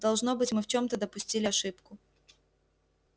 должно быть мы в чём-то допустили ошибку